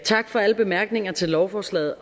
tak for alle bemærkninger til lovforslaget